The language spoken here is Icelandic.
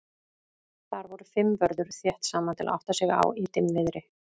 Þar voru fimm vörður þétt saman til að átta sig á í dimmviðri.